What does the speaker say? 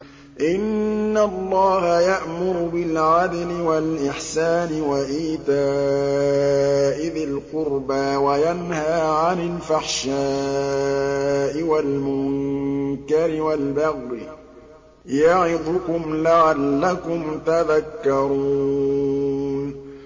۞ إِنَّ اللَّهَ يَأْمُرُ بِالْعَدْلِ وَالْإِحْسَانِ وَإِيتَاءِ ذِي الْقُرْبَىٰ وَيَنْهَىٰ عَنِ الْفَحْشَاءِ وَالْمُنكَرِ وَالْبَغْيِ ۚ يَعِظُكُمْ لَعَلَّكُمْ تَذَكَّرُونَ